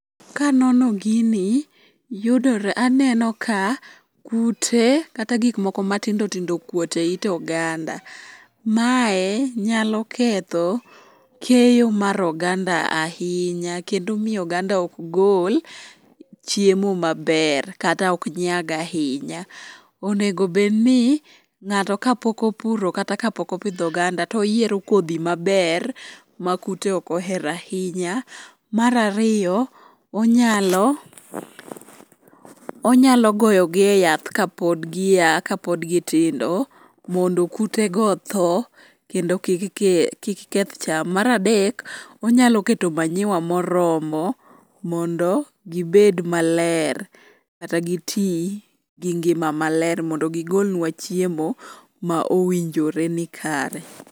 Kanono gini, yudore aneno ka kute kata gikmoko matindo tindo okuot e it oganda. Mae nyalo ketho keyo mar oganda ahinya kendo miyo oganda ok gol chiemo maber kata ok nyag ahinya. Onego obedni ng'ato kapok opuro kata kapok opidho oganda toyiero kodhi maber ma kute ok ohero ahinya. Mar ariyo, onyalo goyogi e yath kapod giya kapod gitindo mondo kutego otho, kendo kik keth cham. Mar adek, onyalo keto manyiwa moromo mondo gibed maler kata giti gi ngima maler mondo gigolnwa chiemo ma owinjore ni kare.